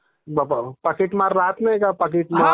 बाप्पा....पाकीटमार राहात नाही का पाकीट मार..